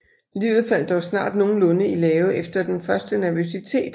Livet faldt dog snart nogenlunde i lave efter den første nervøsitet